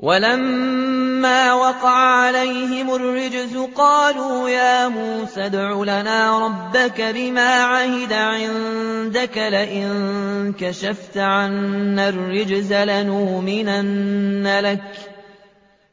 وَلَمَّا وَقَعَ عَلَيْهِمُ الرِّجْزُ قَالُوا يَا مُوسَى ادْعُ لَنَا رَبَّكَ بِمَا عَهِدَ عِندَكَ ۖ لَئِن كَشَفْتَ عَنَّا الرِّجْزَ